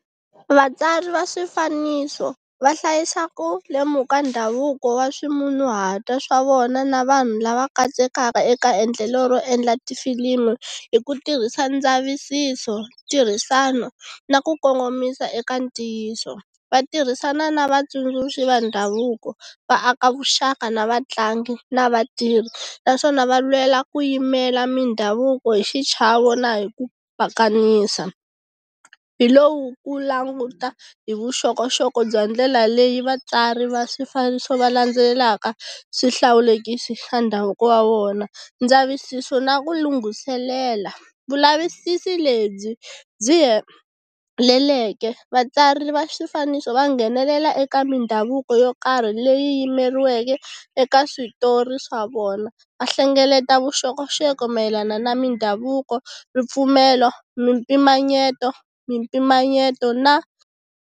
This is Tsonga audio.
Vatswari va swifaniso va hlayisa ku lemuka ndhavuko wa ximunhuhatwa swa vona na vanhu lava katsekaka eka endlelo ro endla tifilimu hi ku tirhisa ndzavisiso, tirhisano, na ku kongomisa eka ntiyiso vatirhisani na vatsundzuxi va ndhavuko va aka vuxaka na vatlangi na vatirhi. Naswona va lwela ku yimela mindhavuko hi xichavo na hi ku pakanisa. Hilowu ku languta ta hi vuxokoxoko bya ndlela leyi vatswari va swifaniso va landzelelaka swihlawulekisi swa ndhavuko wa vona, ndzavisiso na ku lunghiselela. Vulavisisi lebyi byi heleleke vatswari va swifaniso va nghenelela eka mindhavuko yo karhi leyi yimeriweke eka switori swa vona va hlengeleta vuxokoxoko mayelana na mindhavuko, ripfumelo, mimpimanyeto mimpimanyeto na.